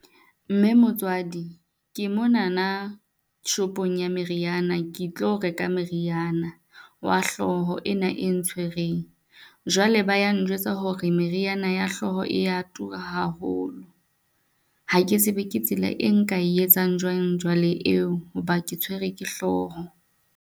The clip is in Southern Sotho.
Mme motswadi ke monana shopong ya meriana, ke tlo reka meriana wa hloho ena e ntshwereng. Jwale ba ya njwetsa hore meriana ya hloho eya tura haholo, ha ke tsebe ke tsela e nka e etsang jwang jwale eo ho ba ke tshwere ke hloho?